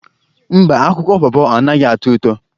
Mba, akwụkwọ pọpọ anaghị atọ ụtọ.